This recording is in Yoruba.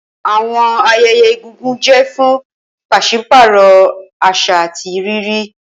Awọn ayẹyẹ egungun jẹ fun paṣipaarọ aṣa ati riri.